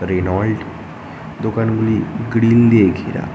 Reynold দোকানগুলি grill দিয়ে ঘেরা।